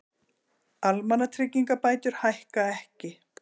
Almannatryggingabætur hækka ekki